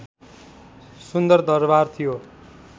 सुन्दर दरबार थियो